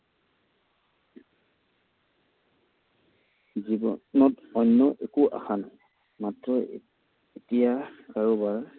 জীৱনত অন্য একো আশা নাই। মাত্ৰ এতিয়া কাৰোবাৰ